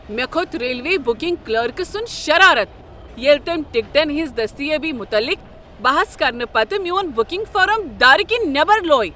مےٚ کھوٚت railway booking clerk سنٛد شرارت ییٚلہ تٔمۍ ٹکٹن ہنٛز دٔستیٲبی متعلق بحث کرنہٕ پتہٕ میون بکنگ فارم دار کنۍ نیبر لوے۔